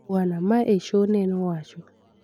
Bwana Measho ne owacho